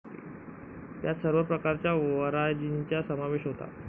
त्यात सर्व प्रकारच्या वंराजीचा समावेश होता.